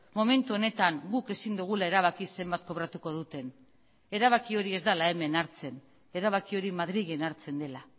momentu honetan guk ezin dugula erabaki zenbat kobratuko duten erabaki hori ez dela hemen hartzen erabaki hori madrilen hartzen dela